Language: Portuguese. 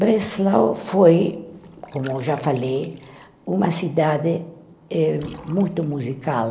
Breslau foi, como já falei, uma cidade eh muito musical.